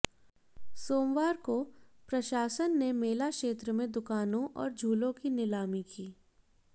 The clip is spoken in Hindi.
सोमवार को प्रशासन ने मेला क्षेत्र में दुकानों और झूलों की नीलामी की